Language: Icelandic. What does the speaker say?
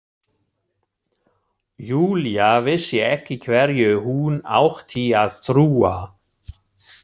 Júlía vissi ekki hverju hún átti að trúa.